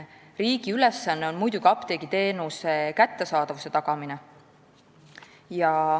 Riigi ülesanne on muidugi apteegiteenuse kättesaadavuse tagamine.